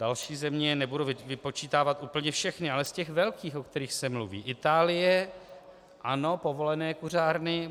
Další země, nebudu vypočítávat úplně všechny, ale z těch velkých, o kterých se mluví - Itálie, ano, povolené kuřárny.